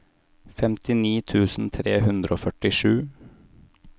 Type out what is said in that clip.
femtini tusen tre hundre og førtisju